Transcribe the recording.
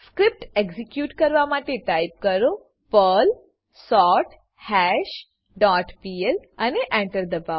script execute કરવા માટે type કરો પર્લ સોર્થશ ડોટ પીએલ અને Enter દબાઓ